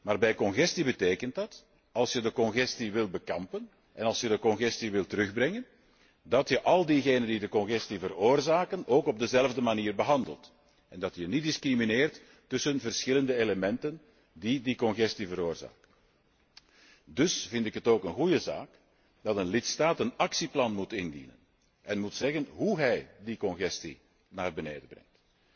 Maar bij congestie betekent dat dat, als je de congestie wil bestrijden en als je de congestie wil terugbrengen, je al diegenen die de congestie veroorzaken ook op dezelfde manier behandelt, en dat je niet discrimineert tussen verschillende elementen die de congestie veroorzaken. Dus vind ik het ook een goede zaak dat een lidstaat een actieplan moet indienen en moet zeggen hoe hij de congestie naar beneden brengt.